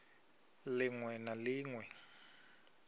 lin we na lin we